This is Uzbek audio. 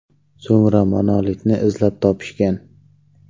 So‘ngra monolitni izlab topishgan.